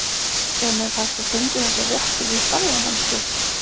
En er hægt að tengja þessar réttir við ferðamennsku?